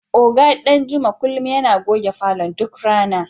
Oga Danjuma kullum yana goge falon duk rana.